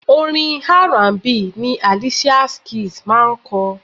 Orin R&B ni Alicia Keys máa ń kọ.